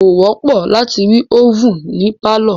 Kò wọ́pọ̀ láti rí ovèn ní pálọ̀.